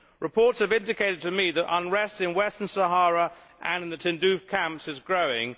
Reports have indicated to me that unrest in Western Sahara and in the Tindouf camps is growing.